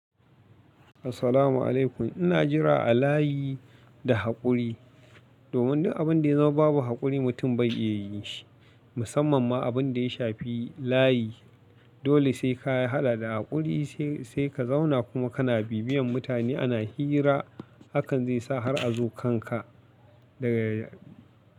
Assalamu'alaikum, ina jira a layi da haƙuri domin duk abinda ya zama babu haƙuri mutum bai iya yin shi, musamman ma abinda ya shafi layi. Dole sai ka haɗa da haƙuri sai ka zauna kuma kana bibiyan mutane ana hira, hakan zai sa har a zo kan ka daga ya.